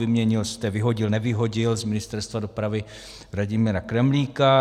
Vyměnil jste, vyhodil - nevyhodil z Ministerstva dopravy Vladimíra Kremlíka.